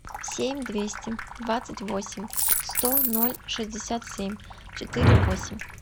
семь двести двадцать восемь сто ноль шестьдесят семь четыре восемь